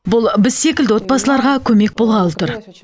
бұл біз секілді отбасыларға көмек болғалы тұр